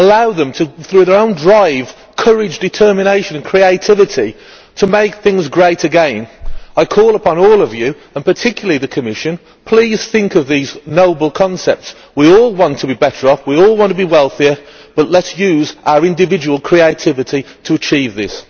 allow them, through their own drive, courage, determination and creativity, to make things great again. I call upon all of you, and particularly the Commission, to please think of these noble concepts. We all want to be better off, we all want to be wealthier, but let us use our individual creativity to achieve this.